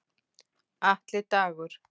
Atli Dagur.